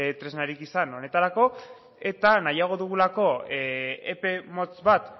tresnarik izan honetarako eta nahiago dugulako epe motz bat